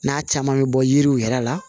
N'a caman bɛ bɔ yiriw yɛrɛ la